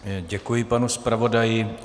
Děkuji panu zpravodaji.